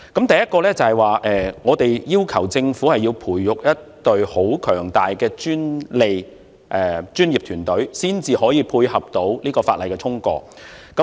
第一，我們要求政府培育一隊強大的專利專業團隊，以配合這項法例的通過。